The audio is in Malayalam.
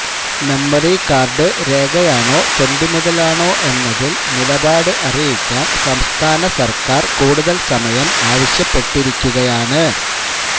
മെമ്മറി കാര്ഡ് രേഖയാണോ തൊണ്ടി മുതല് ആണോ എന്നതില് നിലപാട് അറിയിക്കാന് സംസ്ഥാന സര്ക്കാര് കൂടുതല് സമയം ആവശ്യപ്പെട്ടിരിക്കുകയാണ്